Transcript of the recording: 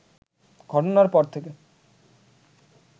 ঘটনার পর থেকে